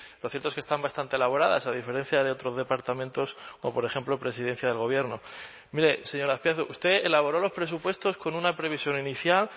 lo cierto es que están bastante elaboradas a diferencia de otros departamentos o por ejemplo presidencia del gobierno mire señor azpiazu usted elaboró los presupuestos con una previsión inicial